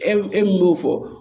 E min y'o fɔ